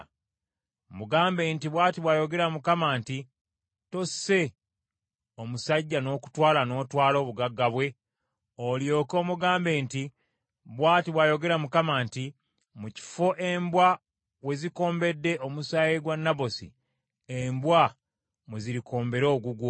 Mugambe nti, ‘Bw’ati bw’ayogera Mukama nti, Tosse omusajja n’okutwala n’otwala obugagga bwe?’ Olyoke omugambe nti, ‘Bw’ati bw’ayogera Mukama nti: Mu kifo embwa wezikombedde omusaayi gwa Nabosi, embwa mwezirikombera ogugwo.’ ”